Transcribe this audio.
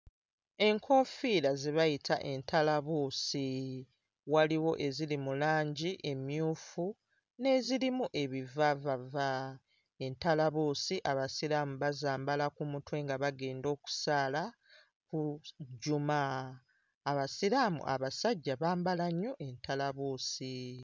Enkoofiira ze bayita entalabuusi, waliwo eziri mu langi emmyufu n'ezirimu ebivaavava. Entalabuusi abasiraamu bazambala ku mutwe nga bagenda okusaala Juma. Abasiraamu abasajja bambala nnyo entalabuusi.